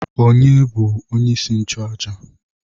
Onye bu onye isi nchụaja?